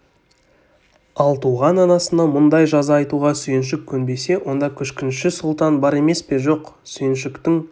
ал туған анасына мұндай жаза айтуға сүйіншік көнбесе онда күшкінші сұлтан бар емес пе жоқ сүйіншіктің